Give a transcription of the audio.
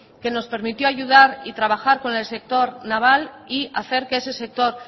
que nos permitió ayudar y trabajar con el sector naval y hacer que ese sector